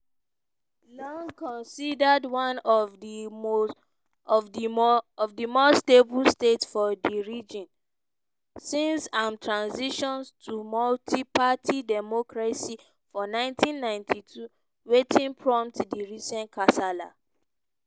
long considered one of di more stable states for di region since im transition to multi-party democracy for 1992 wetin prompt dis recent kasala?